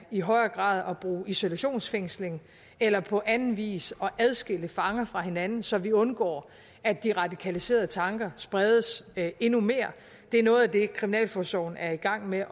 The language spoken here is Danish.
i højere grad at bruge isolationsfængsling eller på anden vis adskille fanger fra hinanden så vi undgår at de radikaliserede tanker spredes endnu mere det er noget af det kriminalforsorgen er i gang med